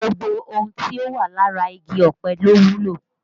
Gbogbo ohun tí ó wà lára igi ọ̀pẹ ló wúlò